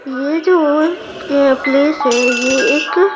यह जो यह प्लेस है यह एक--